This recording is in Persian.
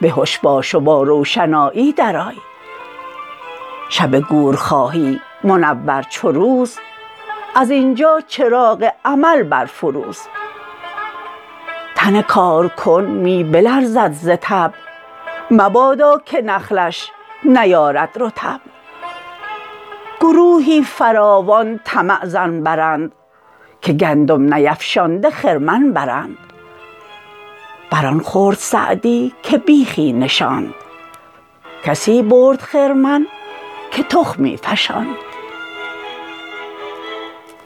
به هش باش و با روشنایی در آی شب گور خواهی منور چو روز از اینجا چراغ عمل برفروز تن کارکن می بلرزد ز تب مبادا که نخلش نیارد رطب گروهی فراوان طمع ظن برند که گندم نیفشانده خرمن برند بر آن خورد سعدی که بیخی نشاند کسی برد خرمن که تخمی فشاند